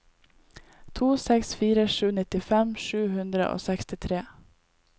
to seks fire sju nittifem sju hundre og sekstitre